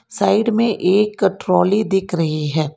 Side में एक trolley दिख रही है।